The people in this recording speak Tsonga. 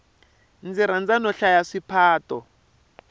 ndzi rhandza no hlaya swiphato